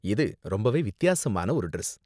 இது ரொம்பவே வித்தியாசமான ஒரு டிரஸ்.